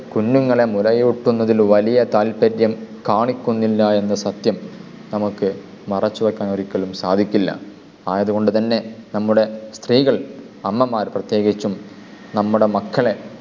കുഞ്ഞുങ്ങളെ മുലയൂട്ടുന്നതിൽ വലിയ താല്പര്യം കാണിക്കുന്നില്ല എന്ന സത്യം നമുക്ക് മറച്ചു വക്കാൻ ഒരിക്കലും സാധിക്കില്ല. ആയതു കൊണ്ട് തന്നെ നമ്മുടെ സ്ത്രീകൾ അമ്മമാർ പ്രത്യേകിച്ചും നമ്മുടെ മക്കളെ